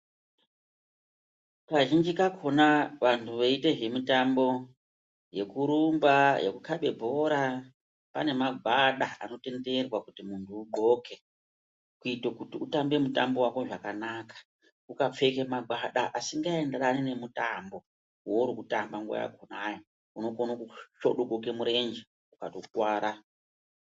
Kazhinji kakhona vantu veiita zvemitambo yekurumba, yekukhabe bhora pane magwada anotenderwa kuti muntu undhloke kuito kuti utambe mutambo wako zvakanaka. Ukapfeka mangwana asikaenderani nemutambo wourukutamba nguwa yakhonauo unokone kusvodogoke murenje ukatokuwara.